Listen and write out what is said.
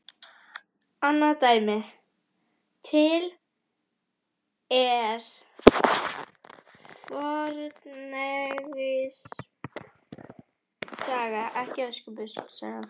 Annað dæmi: Til er fornegypsk saga- ekki Öskubuskusaga